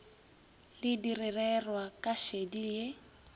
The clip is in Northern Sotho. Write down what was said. le direrwa ka šedi ye